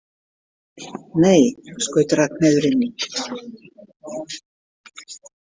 Nei, skaut Ragnheiður inn í.